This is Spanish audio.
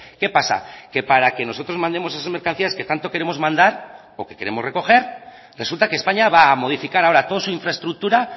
qué pasa que para que nosotros mandemos esas mercancías que tanto queremos mandar o que queremos recoger resulta que españa va a modificar ahora toda su infraestructura